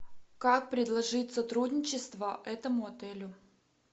как предложить сотрудничество этому отелю